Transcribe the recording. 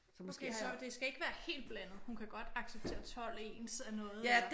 Okay så det skal ikke være helt blandet? Hun kan godt acceptere 12 ens af noget eller?